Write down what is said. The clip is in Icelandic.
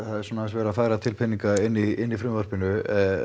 verið að færa til peninga inni í frumvarpinu